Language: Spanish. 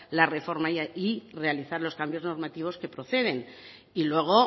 la reforma y realizar los cambios normativos que proceden y luego